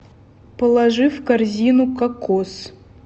положи в корзину кокос